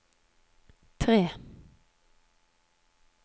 tre